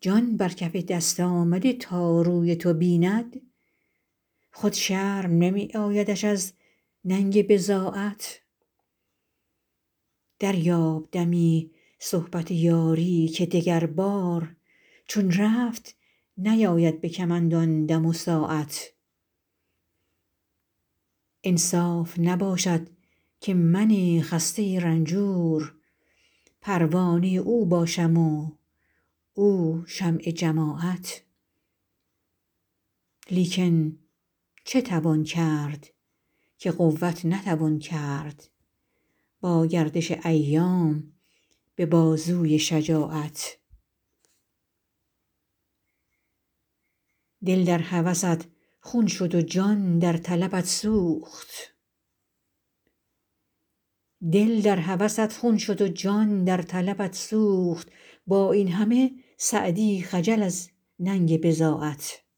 جان بر کف دست آمده تا روی تو بیند خود شرم نمی آیدش از ننگ بضاعت دریاب دمی صحبت یاری که دگربار چون رفت نیاید به کمند آن دم و ساعت انصاف نباشد که من خسته رنجور پروانه او باشم و او شمع جماعت لیکن چه توان کرد که قوت نتوان کرد با گردش ایام به بازوی شجاعت دل در هوست خون شد و جان در طلبت سوخت با این همه سعدی خجل از ننگ بضاعت